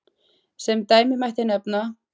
Sem dæmi mætti nefna